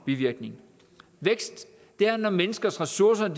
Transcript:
bivirkninger vækst er når menneskers ressourcer